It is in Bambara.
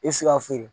E bɛ se ka feere